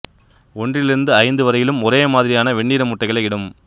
ஒன்றிலிருந்து ஐந்து வரையிலும் ஒரே மாதிரியான வெண்ணிற முட்டைகளை இடும்